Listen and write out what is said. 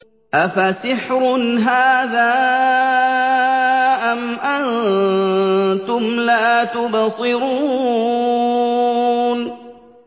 أَفَسِحْرٌ هَٰذَا أَمْ أَنتُمْ لَا تُبْصِرُونَ